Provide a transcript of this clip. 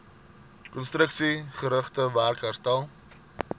konstruksiegerigte werk herstel